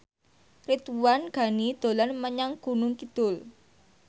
Ridwan Ghani dolan menyang Gunung Kidul